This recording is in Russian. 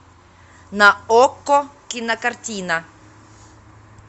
на окко кинокартина